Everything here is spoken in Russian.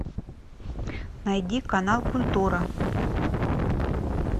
найди канал культура